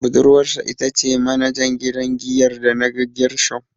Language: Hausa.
Budurwarsa ita ce manajan gidan giyar da naga Gershom.